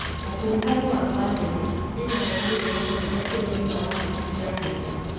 Ũkuruhanu wa bamĩrĩ ĩna maumĩrĩra manene kũrĩ ũgima wa hakiri ya mũndũ.